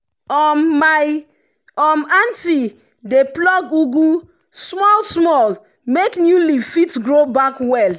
um my um aunty dey pluck ugu small small make new leaf fit grow back well.